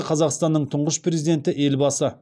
қазақстанның тұңғыш президенті елбасы